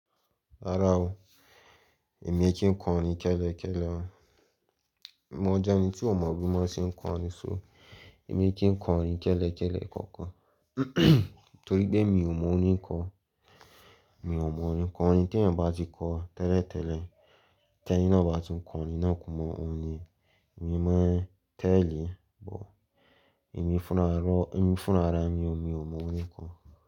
Rárá o, èmi kí n kọ orin kẹ́lẹ́ kẹ́lẹ́. Mo jẹ́ ẹni tí ó mọ bí wón ṣe ń kọ orin so èmi kí ń kọ orin kẹ́lẹ́ kẹ́lẹ́ kankan torí pé mi ò mọ orin kọ. Mi ò mọ orin kọ, orin tí ènìyàn bá ti kọ tẹ́lẹ̀ tẹ́lẹ̀, tẹ́ni náà bá tún kọ orin náà kún mọ́ òní, èmi máa tẹ̀lé, but èmi fúnra, èmi fúnra ni o, mi ò mọ orin kọ.